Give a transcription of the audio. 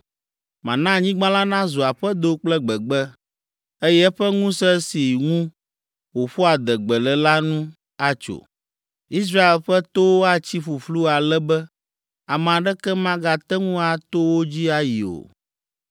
Mana anyigba la nazu aƒedo kple gbegbe, eye eƒe ŋusẽ si ŋu wòƒoa adegbe le la nu atso. Israel ƒe towo atsi ƒuƒlu ale be ame aɖeke magate ŋu ato wo dzi ayi o.